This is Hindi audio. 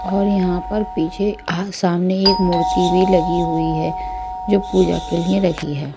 और यहां पर पीछे आह सामने एक मूर्ति भी लगी हुई है जो पूजा के लिए रखी है।